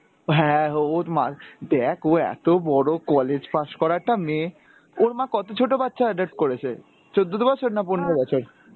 হ্যাঁ ওর মার, দেখ ও এত বড় college pass করা একটা মেয়ে, ওর মা কত ছোট বাচ্চা adopt করেছে? চোদ্দ দো বছর না পনেরো বছর?